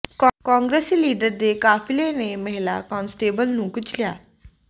ਕਾਂਗਰਸੀ ਲੀਡਰ ਦੇ ਕਾਫ਼ਿਲੇ ਨੇ ਮਹਿਲਾ ਕਾਂਸਟੇਬਲ ਨੂੰ ਕੁਚਲਿਆ